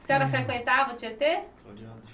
A senhora frequentava o Tietê?